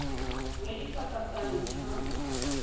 ya ka dipaka tsa ntlha